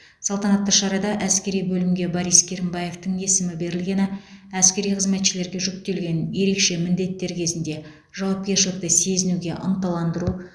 салтанатты шарада әскери бөлімге борис керімбаевтің есімі берілгені әскери қызметшілерге жүктелген ерекше міндеттер кезінде жауапкершілікті сезінуге ынталандыру